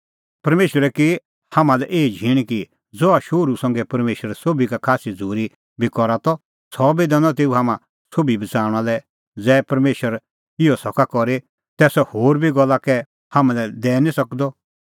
परमेशरे की हाम्हां लै एही झींण कि ज़हा शोहरू संघै परमेशर सोभी का खास्सी झ़ूरी बी करा त सह बी दैनअ तेऊ हाम्हां सोभी बच़ाऊंणा लै ज़ै परमेशर इहअ सका करी तै सह होर सोभै गल्ला कै हाम्हां लै दैई निं सकदअ